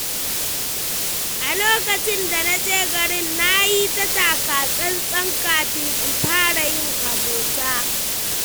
A lokacin da na je garin, na yi taka-tsan-tsan kafin in fara yin abota.